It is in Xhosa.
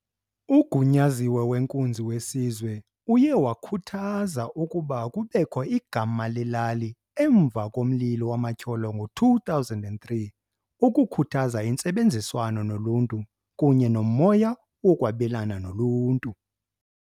UGunyaziwe weNkunzi weSizwe uye wakhuthaza ukuba kubekho igama lelali emva komlilo wamatyholo ngo-2003 "ukukhuthaza intsebenziswano noluntu kunye nomoya wokwabelana noluntu".